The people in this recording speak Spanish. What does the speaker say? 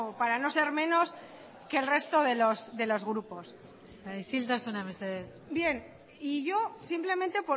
para no ser menos que el resto de los grupos isiltasuna mesedez bien y yo simplemente